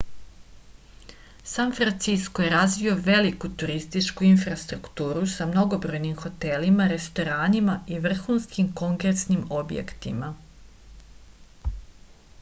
san francisko je razvio veliku turističku infrastrukturu sa mnogobrojnim hotelima restoranima i vrhuskim kongresnim objektima